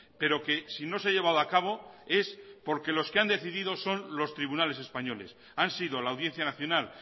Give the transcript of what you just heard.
pero que si no se ha llevado a cabo es porque los que han decidido son los tribunales españoles han sido la audiencia nacional